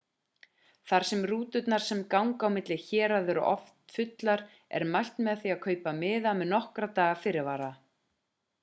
þar sem rúturnar sem ganga milli héraða eru oft fullar er mælt með því að kaupa miða með nokkurra daga fyrirvara